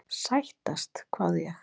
Sættast? hváði ég.